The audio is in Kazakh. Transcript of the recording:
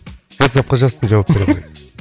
ватсапқа жазсын жауап беремін